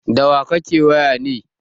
Da wa kake waya ne?